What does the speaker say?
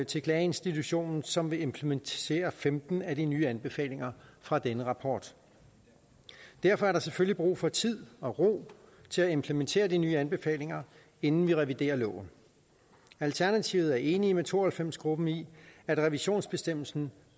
til klageinstitutionen som vil implementere femten af de nye anbefalinger fra denne rapport derfor er der selvfølgelig brug for tid og ro til at implementere de nye anbefalinger inden vi reviderer loven alternativet er enig med to og halvfems gruppen i at revisionsbestemmelsen